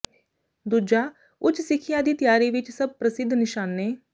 ਦੂਜਾ ਉੱਚ ਸਿੱਖਿਆ ਦੀ ਤਿਆਰੀ ਵਿਚ ਸਭ ਪ੍ਰਸਿੱਧ ਨਿਸ਼ਾਨੇ